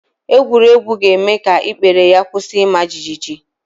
Egwuregwu ga-eme ka ikpere ya kwusi ima jigijigi